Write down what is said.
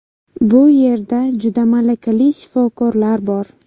Bu yerda juda malakali shifokorlar bor.